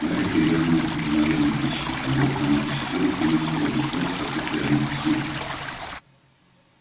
гарри перевернул уже наверное тысячный конверт а на тысяча первом принялся выводить адрес какой-то вероники сметли